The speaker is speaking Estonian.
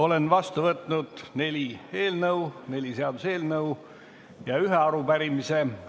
Olen vastu võtnud neli seaduseelnõu ja ühe arupärimise.